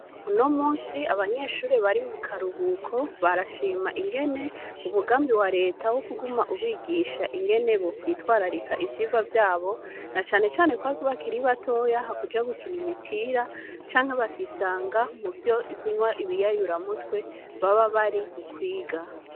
Uno musi abanyeshuri bari mu karuhuko barashima ingene umugambi wa leta wo kuguma ubigisha ingene bo kwitwararika ivyirwa vyabo na canecane kwak bakiri batoya hakuja gukina imipira canke bakisanga mu vyo ikunywa ibiyayura mutwe baba bari mu kwiga.